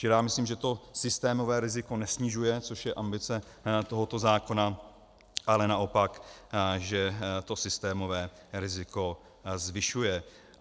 Čili já myslím, že to systémové riziko nesnižuje, což je ambice tohoto zákona, ale naopak, že to systémové riziko zvyšuje.